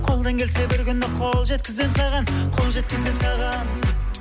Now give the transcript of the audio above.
қолдан келсе бір күні қол жеткіземін саған қол жеткіземін саған